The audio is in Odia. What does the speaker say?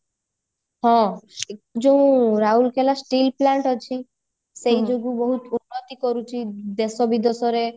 ହଁ ଯୋଉ ରାଉରକେଲା still plant ଅଛି ସେଇଯୋଗୁ ବହୁତ ଉନ୍ନତ କରୁଛି ଦେଶ ବିଦେଶରେ